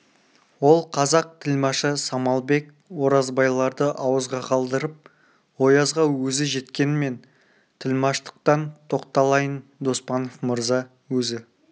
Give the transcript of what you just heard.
ол қазақ тілмашы самалбек оразбайларды ауызға қалдырып оязға өзі жеткен мен тілмаштықтан тоқталайын доспанов мырза өзі